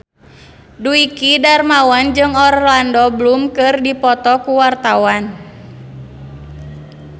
Dwiki Darmawan jeung Orlando Bloom keur dipoto ku wartawan